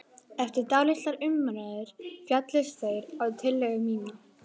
Eftir dálitlar umræður féllust þeir á tillögu mína.